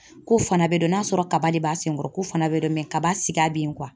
Ko fana bɛ dɔn, n'a y'a sɔrɔ kaba de b'a sen kɔrɔ k'o fana bɛ dɔn mɛ kaba siga bɛ yen